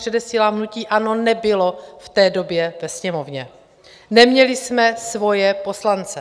Předesílám, že hnutí ANO nebylo v té době ve Sněmovně, neměli jsme svoje poslance.